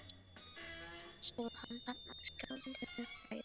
Samt stóð hann þarna skjálfandi af bræði.